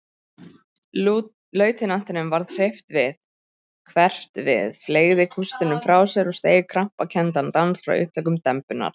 Lautinantinum varð hverft við, fleygði kústinum frá sér og steig krampakenndan dans frá upptökum dembunnar.